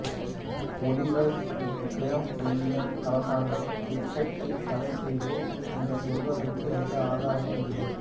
Oliver க்ரோம்வேல்லின் அரசாங்கம் கிரிக்கெட்டை தடை செய்தது என்று சொல்வதற்கு எந்த ஆதாரமும் இல்லை